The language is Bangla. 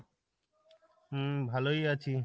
হম ভালোই আছি,